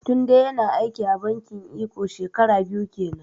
Tunde ya na aiki a bankin eko shekara biyu kenan